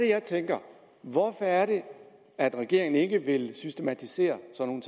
jeg tænker hvorfor er det at regeringen ikke vil systematisere sådan